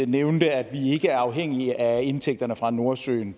nævnede at vi ikke er afhængige af indtægterne fra nordsøen